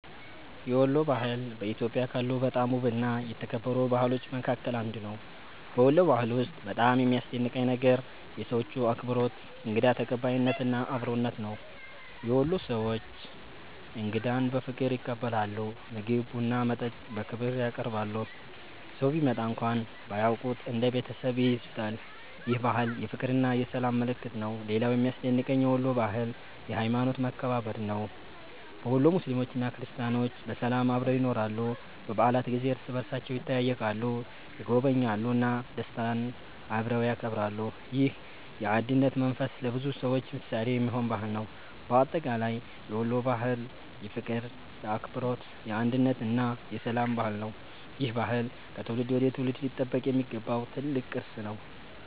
የወሎ ባህል በኢትዮጵያ ካሉ በጣም ውብና የተከበሩ ባህሎች መካከል አንዱ ነው። በወሎ ባህል ውስጥ በጣም የሚያስደንቀኝ ነገር የሰዎቹ አክብሮት፣ እንግዳ ተቀባይነት እና አብሮነት ነው። የወሎ ሰዎች እንግዳን በፍቅር ይቀበላሉ፤ ምግብ፣ ቡና እና መጠጥ በክብር ያቀርባሉ። ሰው ቢመጣ እንኳን ባያውቁት እንደ ቤተሰብ ይይዙታል። ይህ ባህል የፍቅርና የሰላም ምልክት ነው። ሌላው የሚያስደንቀኝ የወሎ ባህል የሀይማኖት መከባበር ነው። በወሎ ሙስሊሞችና ክርስቲያኖች በሰላም አብረው ይኖራሉ። በበዓላት ጊዜ እርስ በእርሳቸው ይጠያየቃሉ፣ ይጎበኛሉ እና ደስታን አብረው ያከብራሉ። ይህ የአንድነት መንፈስ ለብዙ ሰዎች ምሳሌ የሚሆን ባህል ነው። በአጠቃላይ የወሎ ባህል የፍቅር፣ የአክብሮት፣ የአንድነት እና የሰላም ባህል ነው። ይህ ባህል ከትውልድ ወደ ትውልድ ሊጠበቅ የሚገባው ትልቅ ቅርስ ነው።